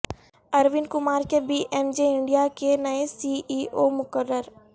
ارون کمار کے P M J India کے نئے سی ای او مقرر